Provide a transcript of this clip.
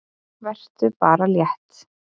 Vertu bara létt!